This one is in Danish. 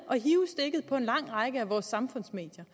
at på en lang række af vores samfundsmedier